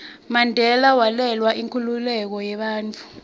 mandela walwela inkhululeko yebantfu